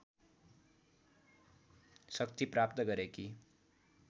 शक्ति प्राप्त गरेकी